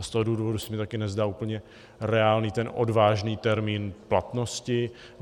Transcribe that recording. A z toho důvodu se mi také nezdá úplně reálný ten odvážný termín platnosti.